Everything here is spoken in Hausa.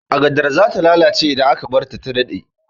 Agadar zata lalace idan aka barta ta dade